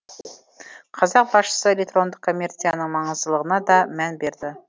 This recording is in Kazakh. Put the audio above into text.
қазақ басшысы электрондық коммерцияның маңыздылығына да мән берді